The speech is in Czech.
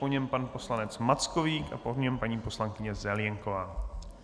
Po něm pan poslanec Mackovík a po něm paní poslankyně Zelienková.